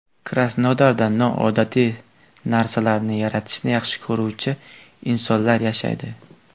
Krasnodarda noodatiy narsalarni yaratishni yaxshi ko‘ruvchi insonlar yashaydi.